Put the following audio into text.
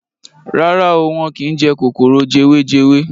Rárá o, wọ́n kín jẹ kòkòrò jewejewe.